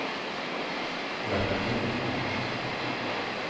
hjelp meg